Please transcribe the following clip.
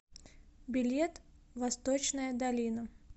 билет восточная долина